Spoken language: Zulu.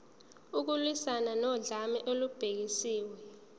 ukulwiswana nodlame olubhekiswe